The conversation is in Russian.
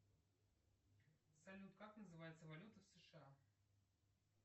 салют как называется валюта сша